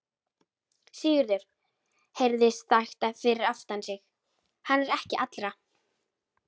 Sigurður heyrði sagt fyrir aftan sig:-Hann er ekki allra.